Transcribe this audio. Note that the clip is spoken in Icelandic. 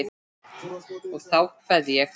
Og þá kveð ég.